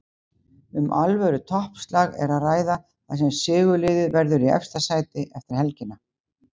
Um alvöru toppslag er að ræða þar sem sigurliðið verður í efsta sæti eftir helgina.